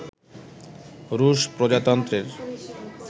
রুশ প্রজাতন্ত্রের